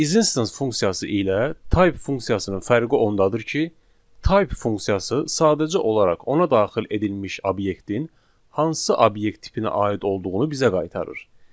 Is instance funksiyası ilə type funksiyasının fərqi ondadır ki, type funksiyası sadəcə olaraq ona daxil edilmiş obyektin hansı obyekt tipinə aid olduğunu bizə qaytarır.